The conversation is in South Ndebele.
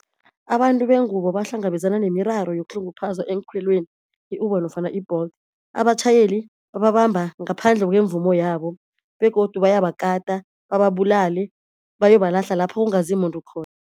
Abantu bengubo bahlangabezana nemiraro yokuhlunguphazwa eenkhweleni i-Uber nofana i-Bolt. Abatjhayeli babamba ngaphandle kwemvumo yabo begodu bayabakata bababulale bayobalahla lapha kungazi muntu